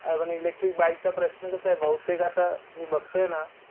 अजून electric bike चा प्रश्न कसाये बहुतेक आता मी बघतोय ना